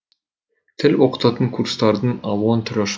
тіл оқытатын курстардың алуан түрі ашылды